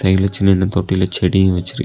சைடுல சின்னன்ன தொட்டில செடியு வெச்சிருக்கு.